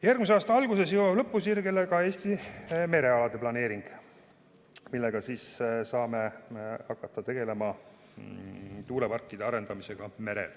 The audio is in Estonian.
Järgmise aasta alguses jõuab lõpusirgele ka Eesti merealade planeering, mille abil saame hakata tegelema tuuleparkide arendamisega merel.